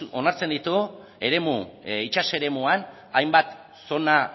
onartzen ditu itsas eremuan hainbat zona